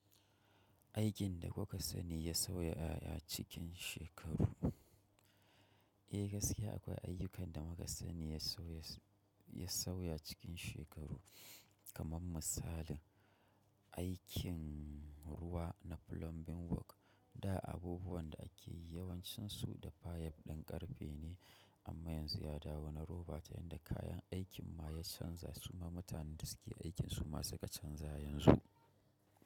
Aikin da kuka sani ya sauya a cikin shekaru? Eh gaskiya akwai ayyukan da muka sani ya sauya cikin shekaru kaman misalin aikin ruwa na plumbing work Da abubuwan da ake yi yawancinsu da fayab ɗin ƙarfe ne amma yanzu ya dawo na roba ta yadda kayan aikin ma ya canza su ma mutanen da suke aikin su ma suka canza yanzu.